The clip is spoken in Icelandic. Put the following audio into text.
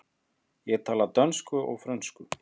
Ég tala dönsku og frönsku.